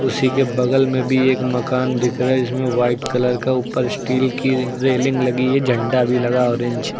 उसी के बगल में बी एक मकान दिख रहा है जिसमें व्हाइट कलर का ऊपर स्टील की रेलिंग लगी है। झंडा भी लगा ऑरेंज --